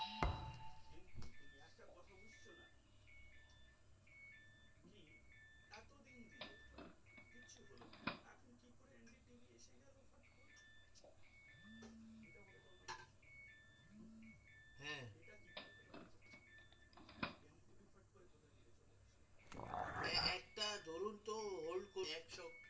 একটা ধরুন তো hold করুন